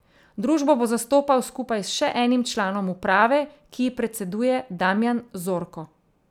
Družbo bo zastopal skupaj s še enim članom uprave, ki ji predseduje Damijan Zorko.